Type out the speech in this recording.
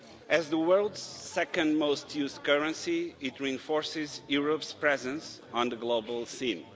As the world's second most used currency, it reinforces Europe's presence on the global scene.